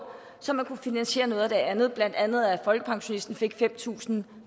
så man kunne finansiere noget af det andet blandt andet at folkepensionisten fik fem tusind